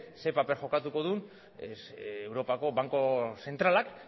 zer paper jokatuko duen europako banku zentralak